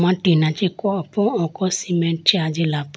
mo ah tina chee kowa po oko cement chee ajila po.